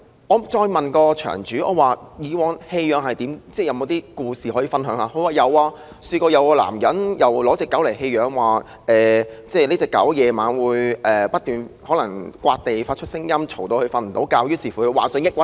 我詢問場主還有甚麼故事可以分享，他告訴我曾有一男子把狗隻送來，打算棄養，因為那狗隻在晚上不斷抓地，發出噪音，令他無法入睡，以致患上抑鬱症。